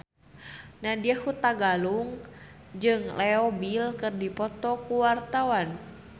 Nadya Hutagalung jeung Leo Bill keur dipoto ku wartawan